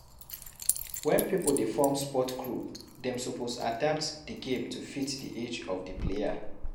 When pipo dey form sport group dem suppose adapt di game to fit the age of di player